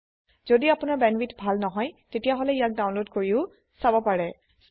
যদি আপোনাৰ বেণ্ডৱিডথ ভাল নহয় তেতিয়াহলে ইয়াক ডাউনলোড কৰিও চাব পাৰে